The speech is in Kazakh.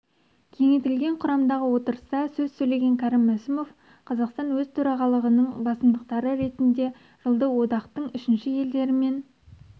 кеңейтілген құрамдағы отырыста сөз сөйлеген кәрім мәсімов қазақстан өз төрағалығының басымдықтары ретінде жылды одақтың үшінші елдермен